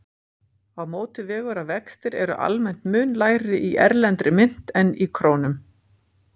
Á móti vegur að vextir eru almennt mun lægri í erlendri mynt en í krónum.